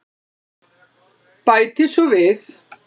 Bæti svo við.